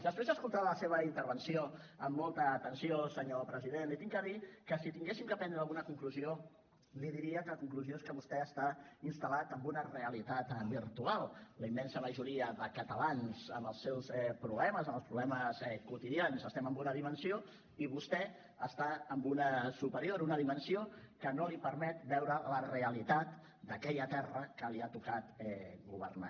després d’escoltar la seva intervenció amb molta atenció senyor president li haig de dir que si haguéssim de prendre alguna conclusió li diria que la conclusió és que vostè està instal·lat en una realitat virtual la immensa majoria de catalans amb els seus problemes amb els problemes quotidians estem en una dimensió i vostè està en una superior una dimensió que no li permet veure la realitat d’aquella terra que li ha tocat governar